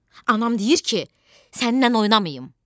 Anam deyir ki, səninlə oynamayım.